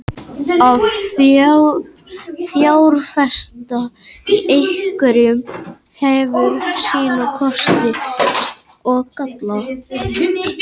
Að fjárfesta í evrum hefur sína kosti og galla.